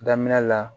Daminɛ la